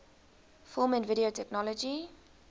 film and video technology